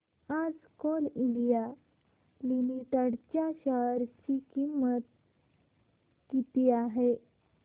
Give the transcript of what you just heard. आज Coal India Limited च्या share ची किंमत किती आहे